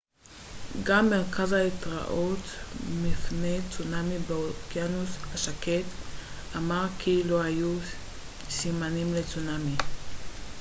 גם מרכז ההתראות מפני צונאמי באוקיינוס השקט אמר כי לא היו סימנים לצונאמי